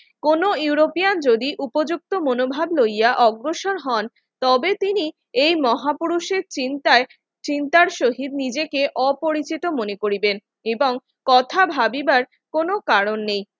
কোন ইউরোপিয়ান যদি উপযুক্ত মনোভাব লইয়া অগ্রসর হন তবে তিনি এই মহাপুরুষের চিন্তায় চিন্তার সহিত নিজেকে অপরিচিত মনে করিবেন এবং কথা ভাবিবার কোন কারণ নেই